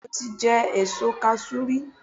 Bẹ́ẹ̀ni i mo ti jẹ èso kasú rí